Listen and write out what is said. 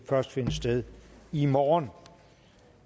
først finde sted i morgen